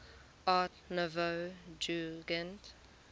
art nouveau jugend